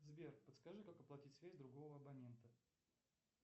сбер подскажи как оплатить связь другого абонента